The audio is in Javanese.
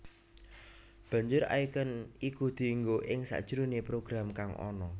Banjur icon iku dienggo ing sajroné program kang ana